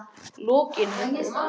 Lokinhömrum